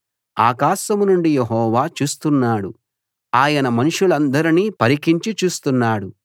ఆకాశం నుండి యెహోవా చూస్తున్నాడు ఆయన మనుషులందర్నీ పరికించి చూస్తున్నాడు